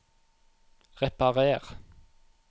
reparer